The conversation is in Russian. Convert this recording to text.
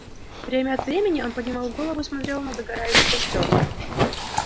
время от времени он поднимал голову и смотрел на догорающий костёр